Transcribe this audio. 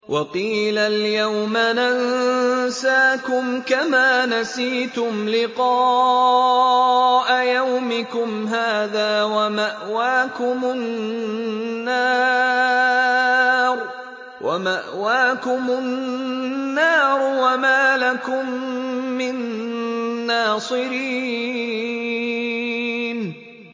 وَقِيلَ الْيَوْمَ نَنسَاكُمْ كَمَا نَسِيتُمْ لِقَاءَ يَوْمِكُمْ هَٰذَا وَمَأْوَاكُمُ النَّارُ وَمَا لَكُم مِّن نَّاصِرِينَ